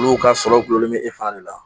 Olu ka sɔrɔ gulonlen bɛ e fana de la